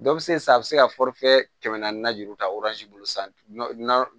Dɔ bɛ se sa a bɛ se ka kɛmɛ naani juru ta